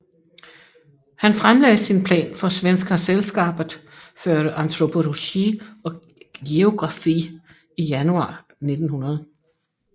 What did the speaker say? Han fremlagde sin plan for Svenska Sällskapet för Antropologi och Geografi i januar 1900